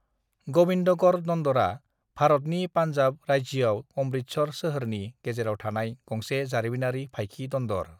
ग'बिन्दगढ़ दन्दरा भारतनि पान्जाब राज्योआव अमृतसर सोहोरनि गेजेराव थानाय गंसे जारिमिनारि फाइखि दन्दर।